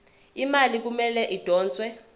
imali kumele idonswe